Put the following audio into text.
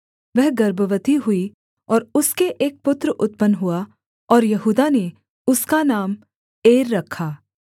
वह गर्भवती हुई और उसके एक पुत्र उत्पन्न हुआ और यहूदा ने उसका नाम एर रखा